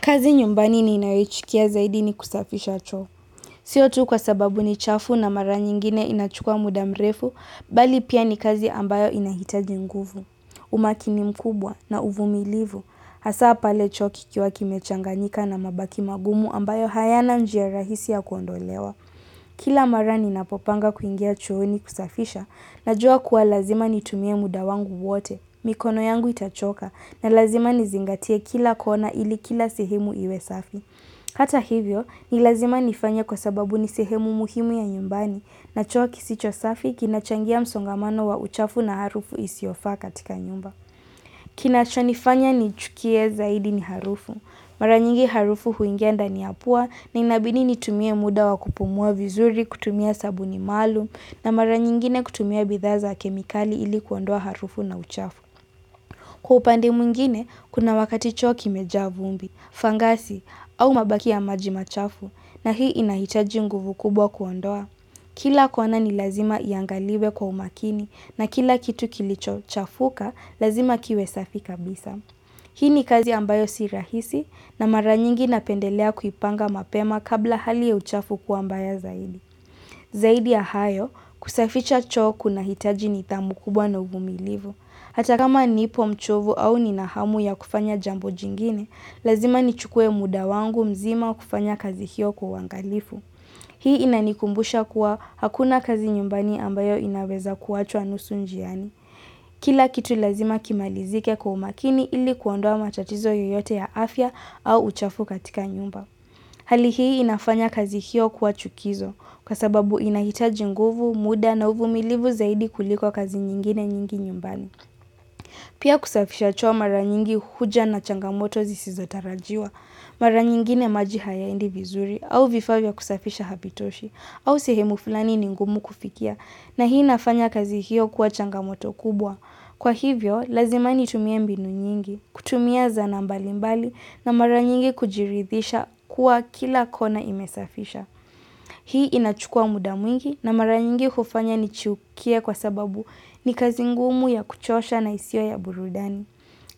Kazi nyumbani ninayochukia zaidi ni kusafisha choo. Siyo tu kwa sababu ni chafu na mara nyingine inachukua muda mrefu, bali pia ni kazi ambayo inahitaji nguvu. Umakini mkubwa na uvumilivu, hasa pale choo kikiwa kimechanganyika na mabaki magumu ambayo hayana njia rahisi ya kuondolewa. Kila mara ninapopanga kuingia chooni kusafisha, najua kuwa lazima nitumie muda wangu wote. Mikono yangu itachoka na lazima nizingatia kila kona ili kila sehemu iwe safi. Hata hivyo, ni lazima nifanye kwa sababu ni sehemu muhimu ya nyumbani na choo kisicho safi kinachangia msongamano wa uchafu na harufu isiyofaa katika nyumba. Kinachonifanya nichukie zaidi ni harufu. Mara nyingi harufu huingia ndani ya pua na inabidi nitumie muda wa kupumua vizuri, kutumia sabuni maalum na mara nyingine kutumia bidhaa za kemikali ili kuondoa harufu na uchafu. Kwa upande mwingine, kuna wakati choo kimejaa vumbi, fangasi, au mabaki ya maji machafu, na hii inahitaji nguvu kubwa kuondoa. Kila kona ni lazima iangaliwe kwa umakini, na kila kitu kilichochafuka, lazima kiwe safi kabisa. Hii ni kazi ambayo si rahisi, na mara nyingi napendelea kuipanga mapema kabla hali ya uchafu kuwa mbaya zaidi. Zaidi ya hayo, kusaficha choo kunahitaji nidhamu kubwa na uvumilivu. Hata kama nipo mchovu au nina hamu ya kufanya jambo jingine, lazima nichukue muda wangu mzima kufanya kazi hiyo kwa uangalifu. Hii inanikumbusha kuwa hakuna kazi nyumbani ambayo inaweza kuachwa nusu njiani. Kila kitu lazima kimalizike kwa umakini ili kuondoa matatizo yoyote ya afya au uchafu katika nyumba. Hali hii inafanya kazi hiyo kuwa chukizo kwa sababu inahitaji nguvu, muda na uvumilivu zaidi kuliko kazi nyingine nyingi nyumbani. Pia kusafisha choo mara nyingi huja na changamoto zisizotarajiwa. Mara nyingine maji hayaendi vizuri au vifaa vya kusafisha havitoshi au sehemu flani ni ngumu kufikia na hii nafanya kazi hiyo kuwa changamoto kubwa. Kwa hivyo, lazima nitumie mbinu nyingi, kutumia zana mbalimbali na mara nyingi kujiridhisha kuwa kila kona imesafisha. Hii inachukua muda mwingi na mara nyingi hufanya nichukie kwa sababu ni kazi ngumu ya kuchosha na isio ya burudani.